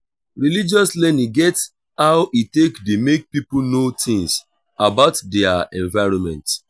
religious learning get how e take dey make pipo know things about their environment